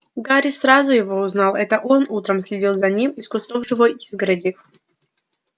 гарри сразу его узнал это он утром следил за ним из кустов живой изгороди